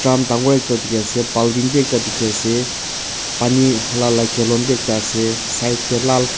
dangor ekta dikhiase bulding bi ekta dikhiase pani hala la calon bi ekta ase side tae lal.